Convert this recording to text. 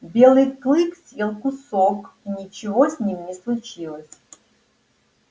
белый клык съел кусок и ничего с ним не случилось